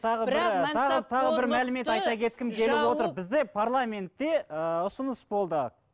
бізде парламентте ыыы ұсыныс болды